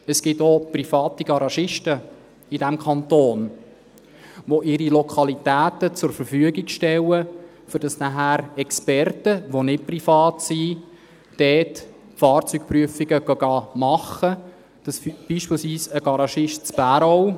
Es gibt in diesem Kanton auch private Garagisten, die ihre Lokalitäten zur Verfügung stellen, sodass nachher Experten, die nicht privat sind, dort Fahrzeugprüfungen machen gehen, sodass beispielsweise ein Garagist in Bärau …